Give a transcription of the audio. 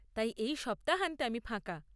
তাই এই সপ্তাহান্তে আমি ফাঁকা।